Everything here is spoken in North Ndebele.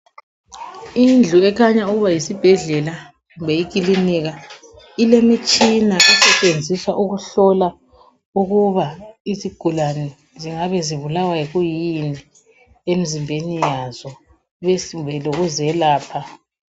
Indlu ekhanya ukuba yisibhedlela. kumbe ikilinika. llemitshina esetshenziswa ukuhlola ukuthi izigulane zingabe zibulawa yikuyini, emzimbeni yazo, kumbe lokuzelapha.